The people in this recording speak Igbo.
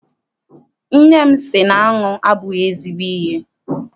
Nne m sị na aṅụ abụghị ezigbo ihe.